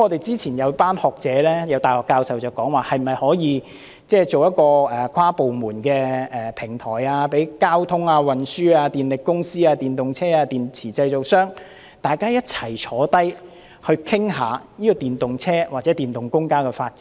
早前，有一班學者、大學教授提議可以成立一個跨部門的平台，讓交通運輸、電力公司、電動車及電池製造商，大家一同討論電動車及電動公共交通工具的發展。